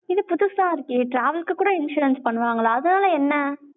இது புதுசா இருக்கே, travel க்கு கூட insurance பண்ணுவாங்களா? அதனால என்ன?